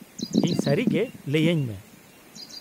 -ᱤᱧ ᱥᱟᱹᱨᱤᱜᱮ ᱞᱟᱹᱭᱟᱹᱧ ᱢᱮ ᱾